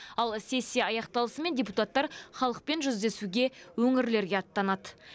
ал сессия аяқталысымен депутаттар халықпен жүздесуге өңірлерге аттанады